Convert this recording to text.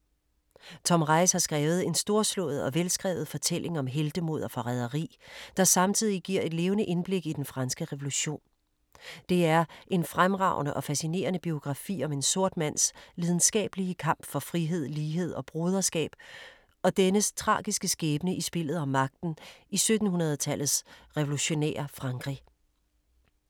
Tom Reiss har skrevet en storslået og velskrevet fortælling om heltemod og forræderi, der samtidig giver et levende indblik i Den Franske Revolution. Det er en fremragende og fascinerende biografi om en sort mands lidenskabelige kamp for frihed, lighed og broderskab og dennes tragiske skæbne i spillet om magten i 1700-tallets revolutionære Frankrig.